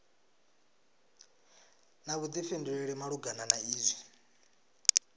na vhuḓifhinduleli malugana na izwi